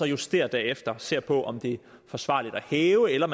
justerer derefter og ser på om det er forsvarligt at hæve eller